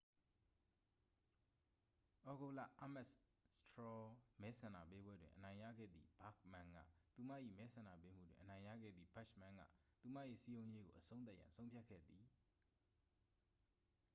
သြဂုတ်လ အားမက်စ် စထရော မဲဆန္ဒပေးပွဲတွင် အနိုင်ရခဲ့သည့် ဘာ့ခ်မန်းက သူမ၏ မဲဆန္ဒပေးမှုတွင် အနိုင်ရခဲ့သည့် ဘက်ချ်မန်းက သူမ၏ စည်းရုံးရေးကို အဆုံးသတ်ရန် ဆုံးဖြတ်ခဲ့သည်